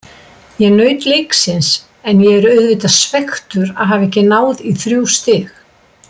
Ég naut leiksins en ég er auðvitað svekktur að hafa ekki náð í þrjú stig.